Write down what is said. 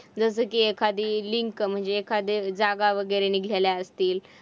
जसं की एखादी link म्हणजे एखादे जागा वगैरे निघाले असतील.